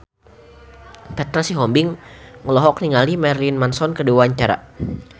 Petra Sihombing olohok ningali Marilyn Manson keur diwawancara